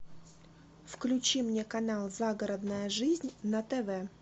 включи мне канал загородная жизнь на тв